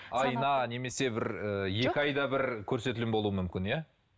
айына немесе і екі айда бір көрсетілім болуы мүмкін иә